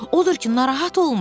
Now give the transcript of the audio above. Odur ki, narahat olma.